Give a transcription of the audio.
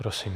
Prosím.